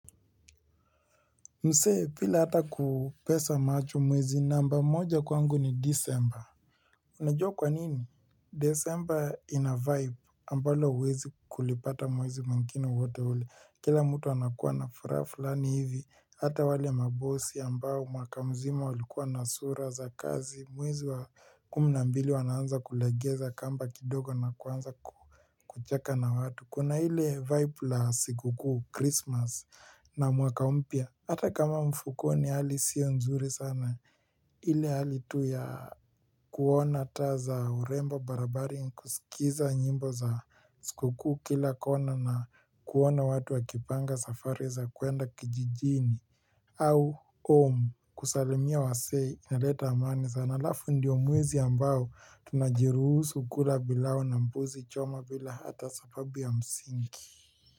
Msee bila hata kupesa macho mwezi namba moja kwangu ni disemba Unajua kwa nini disemba ina vibe ambalo huwezi kulipata mwezi mwingine wowote ule Kila mtu anakuwa na furaha fulani hivi Hata wale mabosi ambao mwaka mzima walikuwa na sura za kazi mwezi wa kumi mbili wanaanza kulegeza kamba kidogo na kuanza kucheka na watu Kuna ile vibe la sikukuu christmas na mwaka mpya Hata kama mfukoni hali sio nzuri sana ile hali tu ya kuona taa za urembo barabarani kusikiza nyimbo za sikukuu kila kona na kuona watu wakipanga safari za kuenda kijijini au home kusalimia wasee inaleta amani sana alafu ndio mwezi ambao tunajiruhusu kula pilau na mbuzi choma bila hata sababu ya msingi.